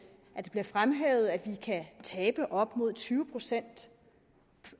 bliver fremhævet at vi kan tabe op mod tyve procent